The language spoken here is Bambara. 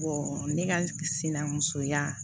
ne ka sinamuso ya